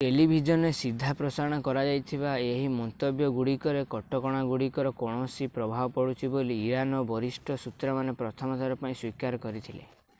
ଟେଲିଭିଜନରେ ସିଧା ପ୍ରସାରଣ କରାଯାଇଥିବା ଏହି ମନ୍ତବ୍ୟଗୁଡ଼ିକରେ କଟକଣାଗୁଡ଼ିକର କୌଣସି ପ୍ରଭାବ ପଡ଼ୁଛି ବୋଲି ଇରାନର ବରିଷ୍ଠ ସୂତ୍ରମାନେ ପ୍ରଥମ ଥର ପାଇଁ ସ୍ୱୀକାର କରିଥିଲେ